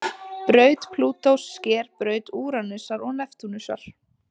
Braut Plútós sker braut Úranusar og Neptúnusar.